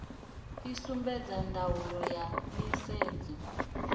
i sumbedza ndaulo ya nisedzo